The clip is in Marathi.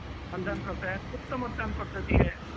म्हणजे कसं आहे की गुप्त मतदान पद्धती आहे.